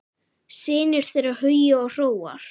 Synir þeirra Hugi og Hróar.